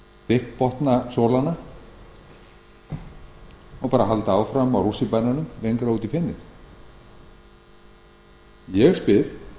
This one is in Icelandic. þykkbotna sólana og bara halda áfram á rússíbananum lengra út í fenið ég spyr